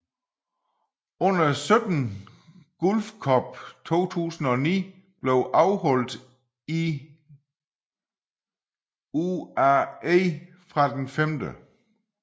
Under 17 Gulf Cup 2009 blev afholdt i i UAE fra den 5